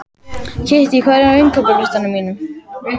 Kittý, hvað er á innkaupalistanum mínum?